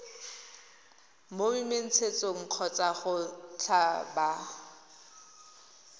mo menontshetsong kgotsa go tlhaba